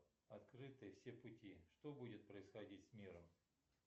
открыты все пути что будет происходить с миром